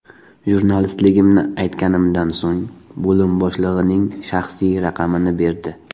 Jurnalistligimni aytganimdan so‘ng bo‘lim boshlig‘ining shaxsiy raqamini berdi.